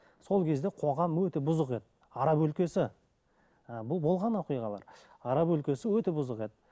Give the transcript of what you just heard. сол кезде қоғам өте бұзық еді араб өлкесі ы бұл болған оқиғалар араб өлкесі өте бұзық еді